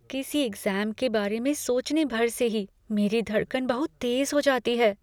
किसी एक्ज़ाम के बारे में सोचने भर से ही मेरी धड़कन बहुत तेज हो जाती हैं।